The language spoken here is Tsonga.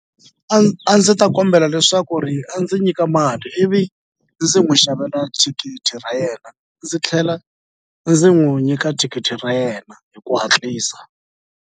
A a ndzi ta kombela leswaku ri a ndzi nyika mali ivi ndzi n'wi xavela thikithi ra yena ndzi tlhela ndzi n'wu nyika thikithi ra yena hi ku hatlisa.